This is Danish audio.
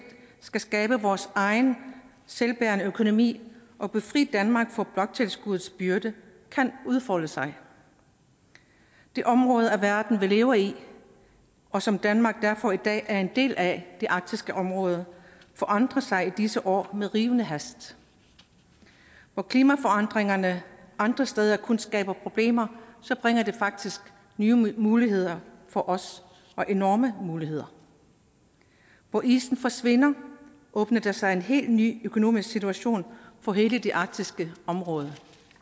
skal skabe vores egen selvbærende økonomi og befri danmark for bloktilskuddets byrde kan udfolde sig det område af verden vi lever i og som danmark derfor i dag er en del af det arktiske område forandrer sig i disse år med rivende hast hvor klimaforandringerne andre steder kun skaber problemer bringer de faktisk nye muligheder for os og enorme muligheder hvor isen forsvinder åbner der sig en helt ny økonomisk situation for hele det arktiske område